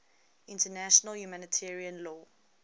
international humanitarian law